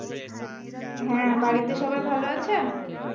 হ্যাঁ বাড়িতে সবাই ভালো আছেন